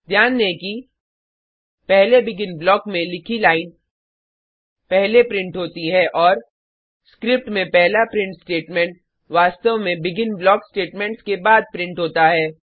ध्यान दें कि पहले बेगिन ब्लॉक में लिखी लाइन पहले प्रिंट होती है और स्क्रिप्ट में पहला प्रिंट स्टेटमेंट वास्तव में बेगिन ब्लॉक स्टेटेमेंट्स के बाद प्रिंट होता है